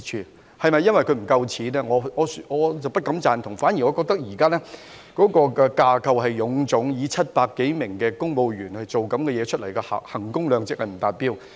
至於是否因為他們沒有足夠金錢，我不敢苟同，我反而覺得現在港台架構臃腫，以700多名公務員做出這類節目，衡工量值不達標。